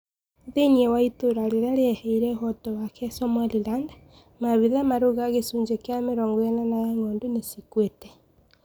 Thiinie wa itũra riria rieheire ũhoto wake wa Somaliland, maabitha marauga gicunji kia mĩrongo enana ya ng'ondu nicikuite.